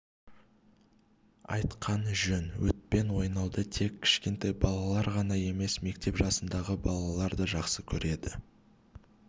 айтқан жөн отпен ойнауды тек кішкентай балалар ғана емес мектеп жасындағы балалар да жақсы көреді